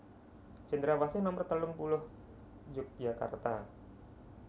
Cendrawasih nomer telung puluh Yogyakarta